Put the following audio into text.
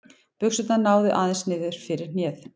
Buxurnar náðu aðeins niður fyrir hnéð.